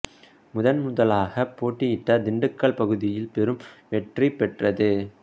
முதன் முதலாகப் போட்டியிட்ட திண்டுக்கல் பகுதியில் பெரும் வெற்றி பெற்றது